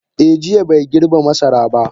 Eh, jiya bai girbe masara ba.